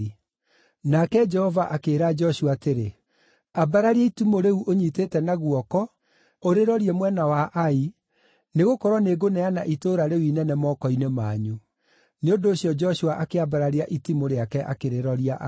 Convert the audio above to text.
Nake Jehova akĩĩra Joshua atĩrĩ, “Ambararia itimũ rĩu ũnyiitĩte na guoko, ũrĩrorie mwena wa Ai, nĩgũkorwo nĩngũneana itũũra rĩu inene moko-inĩ manyu.” Nĩ ũndũ ũcio Joshua akĩambararia itimũ rĩake akĩrĩroria Ai.